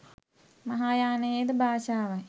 මහායානයේද භාෂාවයි.